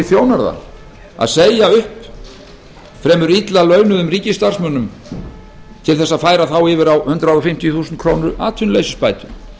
þjónar það að segja upp fremur illa launuðum ríkisstarfsmönnum til þess að færa þá yfir á hundrað fimmtíu þúsund krónur atvinnuleysisbætur